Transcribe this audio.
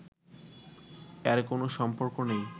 এর কোন সম্পর্ক নেই